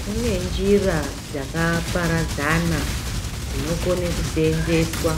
Kune njira dzakaparadzana dzinokone kuseenzeswa